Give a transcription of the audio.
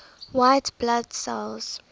white blood cells